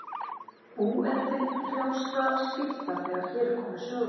bú er til frjálsra skipta þegar hér er komið sögu.